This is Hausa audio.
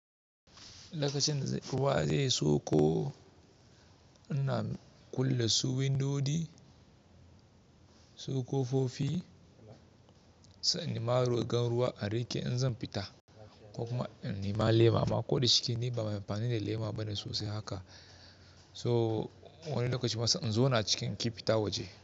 Lokacin ruwa zai soko, ina kulle su windodi, su kofofi, sai in nema rigan ruwa a riƙe in zan fita ko kuma in nema lema. Amma koda cikin ni ba mai amfani da lema bane sosai haka. So wani lokacin ma se inzona cikin ki fita waje.